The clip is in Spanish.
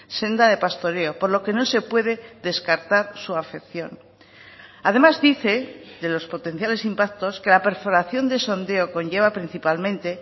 senda de pastoreo por lo que no se puede descartar su afección además dice de los potenciales impactos que la perforación de sondeo conlleva principalmente